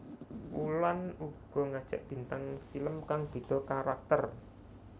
Wulan uga ngajak bintang film kang beda karakter